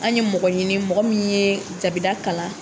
An ye mɔgɔ ɲini ,mɔgɔ min ye jabida kalan.